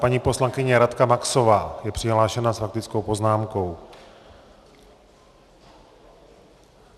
Paní poslankyně Radka Maxová je přihlášena s faktickou poznámkou.